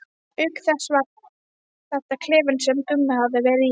Auk þess var þetta klefinn sem Gummi hafði verið í.